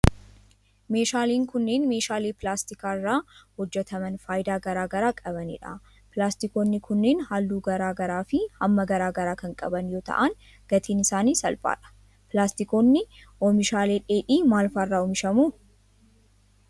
Meeshaaleen kunneen, meeshaalee pilaastika irraa hojjataman faayidaa garaa garaa qabanii dha. Pilaastikoonni kunneen haalluu garaa garaa fi hamma garaa garaa kan qaban yoo ta'an ,gatiin isaanii salphaadha. Pilaastikoonni ,oomishaalee dheedhii maal faa irraa oomishamu?